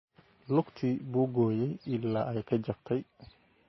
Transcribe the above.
Lugtii buu gooyay ilaa ay ka jabtay